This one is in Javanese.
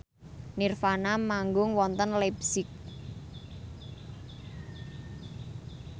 nirvana manggung wonten leipzig